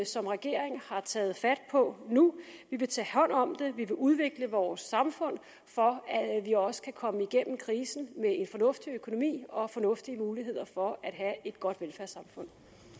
som regering har taget fat på nu vi vil tage hånd om det vi vil udvikle vores samfund for at vi også kan komme igennem krisen med en fornuftig økonomi og fornuftige muligheder for at have et godt velfærdssamfund